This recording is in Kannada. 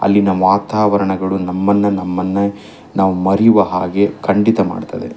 ಅಲ್ಲಿನ ವಾತಾವರಣಗಳು ನಮ್ಮನ್ನ ನಮ್ಮನ್ನ ನಾವು ಮರೆಯುವ ಹಾಗೆ ಖಂಡಿತ ಮಾಡುತ್ತದೆ.